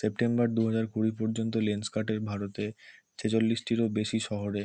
September দুহাজার কুড়ি পর্যন্ত লেন্স কার্ট -এর ভারতে ছেচল্লিশটিরও বেশি শহরে--